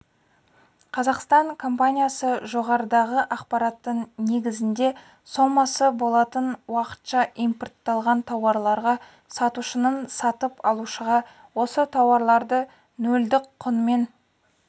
қазақстан компаниясы жоғарыдағы ақпараттың негізінде сомасы болатын уақытша импортталған тауарларға сатушының сатып алушыға осы тауарларды нөлдік құнмен